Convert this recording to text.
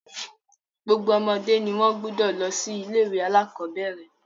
Gbogbo ọmọdé ni wọ́n gbúdọ̀ lọ sí ilé-ìwé alákọ̀bẹ́ẹ́rẹ̀.